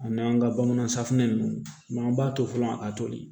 Ani an ka bamanan safunɛ ninnu an b'a to fɔlɔ a toli